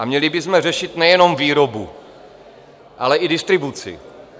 A měli bychom řešit nejenom výrobu, ale i distribuci.